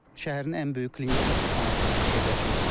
Şəhərin ən böyük klinik xəstəxanası yerləşir.